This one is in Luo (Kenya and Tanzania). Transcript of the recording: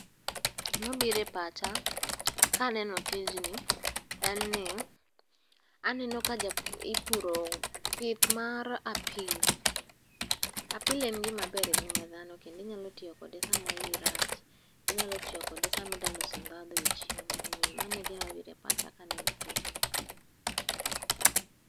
Gima birepacha kaneno tijni en ni aneno ka ipuro pith mar apilo. Apile en gimaber e ngima dhano kendinyalo tiyokode sama iyi rach. Inyalo tiyo kode samidaloso ndhadho e chiemo. Omiyo manegima birepacha kaneno tijni.